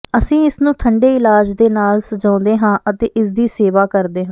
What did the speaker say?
ਅਸੀਂ ਇਸਨੂੰ ਠੰਡੇ ਇਲਾਜ ਦੇ ਨਾਲ ਸਜਾਉਂਦੇ ਹਾਂ ਅਤੇ ਇਸਦੀ ਸੇਵਾ ਕਰਦੇ ਹਾਂ